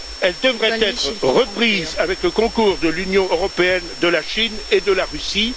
Elle devrait être reprise avec le concours de l'Union européenne, de la Chine et de la Russie.